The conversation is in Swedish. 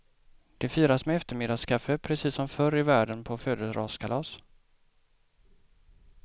Det firas med eftermiddagskaffe, precis som förr i världen på födelsedagskalas.